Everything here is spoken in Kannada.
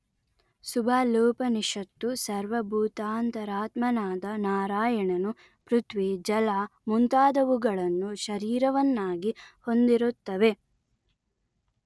ಸುಬಾಲೋಪನಿಷತ್ತು ಸರ್ವಭೂತಾಂತರಾತ್ಮನಾದ ನಾರಾಯಣನು ಪೃಥ್ವಿ ಜಲ ಮುಂತಾದುವುಗಳನ್ನು ಶರೀರವನ್ನಾಗಿ ಹೊಂದಿರುತ್ತವೆ